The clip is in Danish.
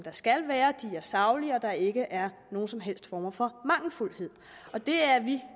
skal være at de er saglige og at der ikke er nogen som helst former for mangelfuldhed det er vi